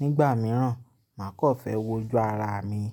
nígbà mìíràn máa kọ́ fẹ́ wo ju ara mi.